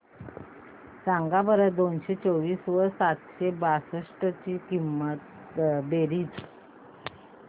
सांगा बरं दोनशे चोवीस व सातशे बासष्ट ची बेरीज